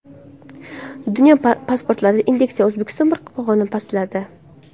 Dunyo pasportlari indeksida O‘zbekiston bir pog‘ona pastladi.